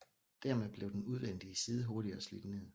Dermed blev den udvendige side hurtigere slidt ned